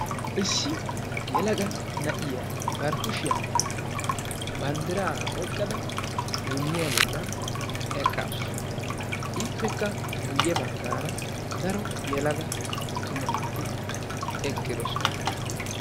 Issi yelaga na'iyaa ba kushiyaan banddira oyqqada duuniya eqqasu; ippekka guyye baggara daro yelaga attuma naati eqqidoosona.